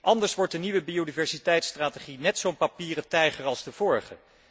Anders wordt de nieuwe biodiversiteitstrategie net zo'n papieren tijger als de vorige.